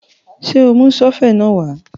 Ṣé o mú sọ́fẹ̀ náà wá?